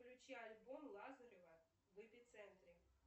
включи альбом лазарева в эпицентре